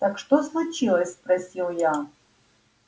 так что случилось спросил я